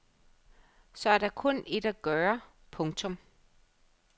Så er der kun ét at gøre. punktum